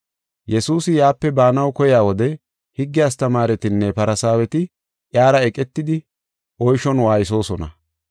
Yesuusi yaape baanaw keyiya wode, higge astamaaretinne Farsaaweti iyara eqetidi oyshon waaysosona.